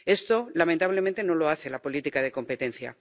Esto, lamentablemente no lo hace la política de competencia.